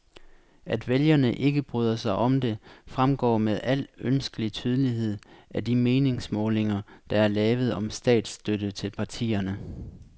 At vælgerne ikke bryder sig om det, fremgår med al ønskelig tydelighed af de meningsmålinger, der er lavet om statsstøtte til partierne.